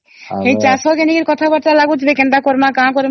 ହେଇ ଚାଷ ଲାଗି କଥା ବାର୍ତା ଲାଗୁଥିବେ କେନ୍ତା କରିବା କଣ କରିବା